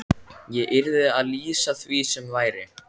Ég yrði að lýsa því sem væri.